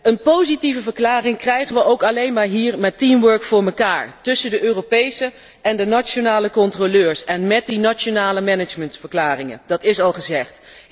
Een positieve verklaring krijgen wij ook alleen maar hier met teamwork voor elkaar, tussen de Europese en de nationale controleurs en met die nationale managementsverklaringen, dat is al gezegd.